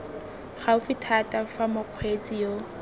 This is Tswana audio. gaufi thata fa mokgweetsi yo